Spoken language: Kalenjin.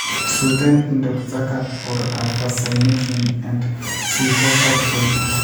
suuten Indoxacarb or Alpha-Cypermethrin and Spinosad Tracer.